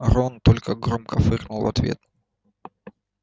рон только громко фыркнул в ответ